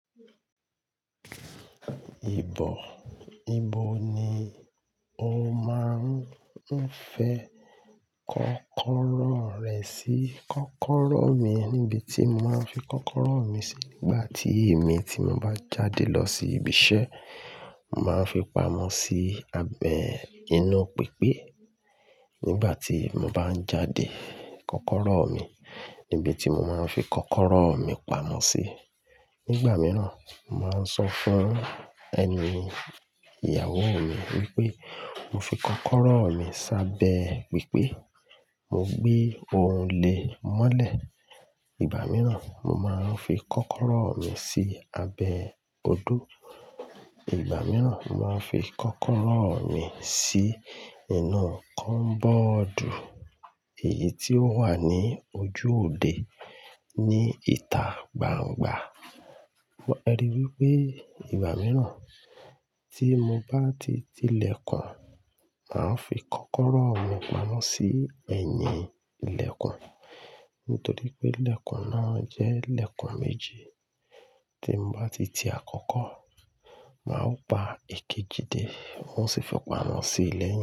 Ìbọ̀, ibo ni o máa ń fẹ kọ́kọ́rọ́ rẹ sí? Kọ́kọ́rọ́ mi, níbi tí mo máa ń fi kọ́kọ́rọ́ mi sí nígbà tí èmi ti mo bá jáde lọ sí ibi iṣẹ́, màá fi pamọ́ sí abẹ inú pípé. Nígbà tí mo bá ń jáde, kọ́kọ́rọ́ mi nibi tí mo máa ń fi kọ́kọ́rọ́ mi pamọ́ sí. Nígbà mìíràn, màá sọ fún ẹni, ìyàwó mi wípé mo fi kọ́kọ́rọ́ mi sábẹ pípé. Mo gbé òrùlé mọ́lẹ̀. Ìgbà mìíràn, mo máa ń fi kọ́kọ́rọ́ mi sí abẹ odó. Ìgbà mìíràn, màá fi kọ́kọ́rọ́ mi sí inú kọ́mbọ́ọ̀dù èyí tó wà ní ojú òde ní ìta gbangba. Ẹ rí i wípé ìgbà mìíràn tí mo bá ti ti ilẹ̀kùn, màá ń fi kọ́kọ́rọ́ mi pamọ́ sí ẹ̀yìn ilẹ̀kùn. Nítorí pé ilẹ̀kùn náà jẹ́ ilẹ̀kùn méje. Tí mo bá ti ti àkọ́kọ́, màá pa èkejì dé. Wọn sì fi pamọ́ sí ilẹ̀